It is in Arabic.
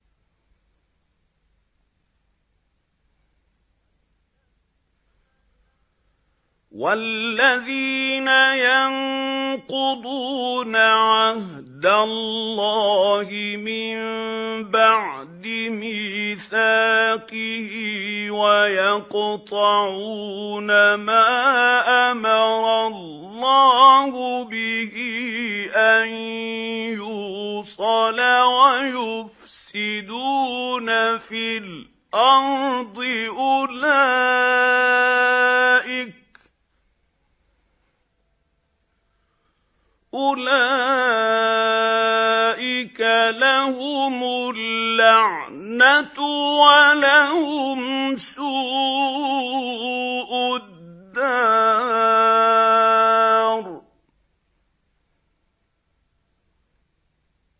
وَالَّذِينَ يَنقُضُونَ عَهْدَ اللَّهِ مِن بَعْدِ مِيثَاقِهِ وَيَقْطَعُونَ مَا أَمَرَ اللَّهُ بِهِ أَن يُوصَلَ وَيُفْسِدُونَ فِي الْأَرْضِ ۙ أُولَٰئِكَ لَهُمُ اللَّعْنَةُ وَلَهُمْ سُوءُ الدَّارِ